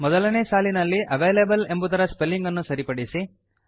ಮೊದಲನೇ ಸಾಲಿನಲ್ಲಿ ಅವಲೇಬಲ್ ಎಂಬುದರ ಸ್ಪೆಲ್ಲಿಂಗ್ ಅನ್ನು ಸರಿಪಡಿಸಿ